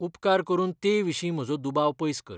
उपकार करून ते विशीं म्हजो दुबाव पयस कर.